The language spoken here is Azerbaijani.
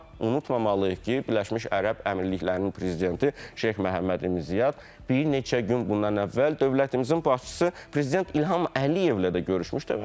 Amma unutmamalıyıq ki, Birləşmiş Ərəb Əmirliklərinin prezidenti Şeyx Məhəmməd ibn Ziyad bir neçə gün bundan əvvəl dövlətimizin başçısı prezident İlham Əliyevlə də görüşmüşdü.